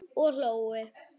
Og hlógu.